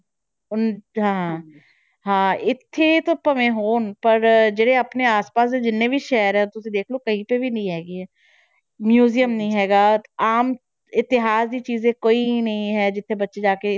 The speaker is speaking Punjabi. ਉਹਨਾਂ 'ਚ ਹਾਂ ਹਾਂ ਇੱਥੇ ਤਾਂ ਭਾਵੇਂ ਹੋਣ ਪਰ ਜਿਹੜੇ ਆਪਣੇ ਆਸ ਪਾਸ ਦੇ ਜਿੰਨੇ ਵੀ ਸ਼ਹਿਰ ਆ ਤੁਸੀਂ ਦੇਖ ਲਓ ਕਿਤੇ ਵੀ ਨੀ ਹੈਗੀ ਹੈ museum ਨੀ ਹੈਗਾ, ਆਮ ਇਤਿਹਾਸ ਦੀ ਚੀਜ਼ਾਂ ਕੋਈ ਨੀ ਹੈ ਜਿੱਥੇ ਬੱਚੇ ਜਾ ਕੇ,